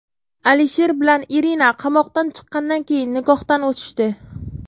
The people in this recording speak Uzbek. Alisher bilan Irina qamoqdan chiqqandan keyin nikohdan o‘tishdi.